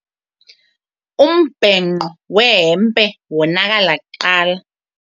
Umbhenqo wehempe wonakala kuqala.